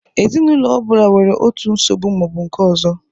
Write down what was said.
Ezinụlọ ọ bụla nwere otu nsogbu ma ọ bụ nke ọzọ